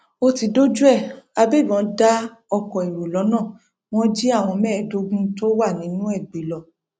ó ti dójú ẹ àgbébọn dá oko èrò lọnà wọn jí àwọn mẹẹẹdógún tó wà nínú ẹ gbé lọ